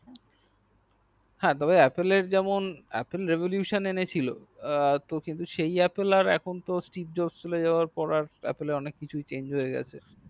হ্যা তো তবে apple এর তেমন apple revulation এনেছিল কিন্তু সেই apple এখন কিন্তু strip jorce চলে যাওয়ার পর আর অনেক কিছুই change হইয়া গেছে